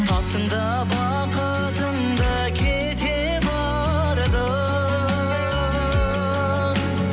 таптың да бақытыңды кете бардың